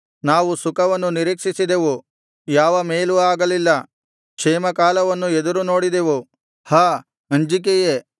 ನಾವು ಸುಖವನ್ನು ನಿರೀಕ್ಷಿಸಿದೆವು ಯಾವ ಮೇಲೂ ಆಗಲಿಲ್ಲ ಕ್ಷೇಮಕಾಲವನ್ನು ಎದುರುನೋಡಿದೆವು ಹಾ ಅಂಜಿಕೆಯೇ